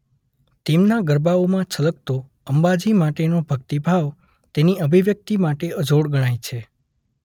તેમના ગરબાઓમાં છલકતો અંબાજી માટેનો ભક્તિભાવ તેની અભિવ્યક્તિ માટે અજોડ ગણાય છે.